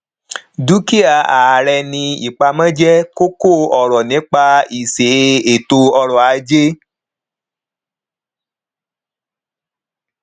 dúkìá ààrẹ ní ipamọ jẹ kókóọrọ nípa iṣẹ ètò ọrọajé